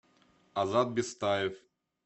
азат бестаев